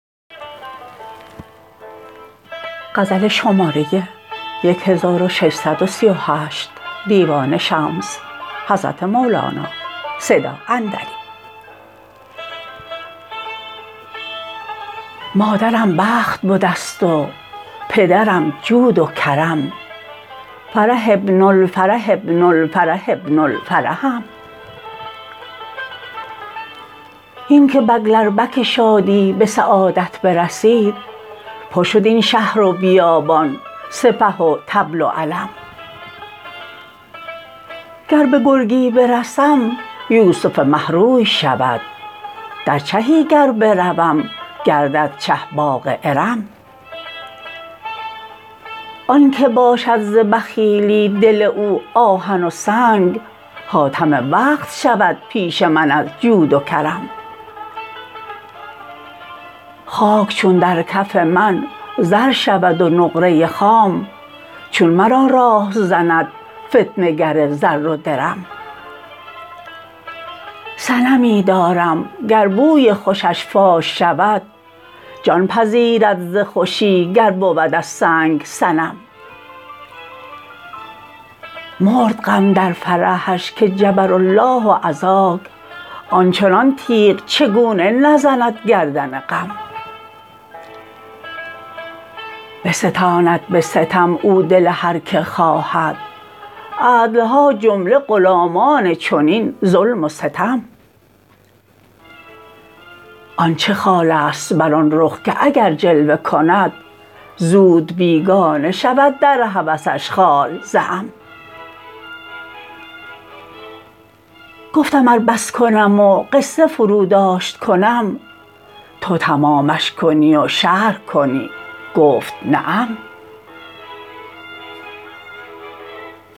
مادرم بخت بده است و پدرم جود و کرم فرح ابن الفرح ابن الفرح ابن الفرحم هین که بکلربک شادی به سعادت برسید پر شد این شهر و بیابان سپه و طبل و علم گر به گرگی برسم یوسف مه روی شود در چهی گر بروم گردد چه باغ ارم آنک باشد ز بخیلی دل او آهن و سنگ خاتم وقت شود پیش من از جود و کرم خاک چون در کف من زر شود و نقره خام چون مرا راه زند فتنه گر زر و درم صنمی دارم گر بوی خوشش فاش شود جان پذیرد ز خوشی گر بود از سنگ صنم مرد غم در فرحش که جبر الله عزاک آن چنان تیغ چگونه نزند گردن غم بستاند به ستم او دل هر کی خواهد عدل ها جمله غلامان چنین ظلم و ستم آن چه خال است بر آن رخ که اگر جلوه کند زود بیگانه شود در هوسش خال ز عم گفتم ار بس کنم و قصه فروداشت کنم تو تمامش کنی و شرح کنی گفت نعم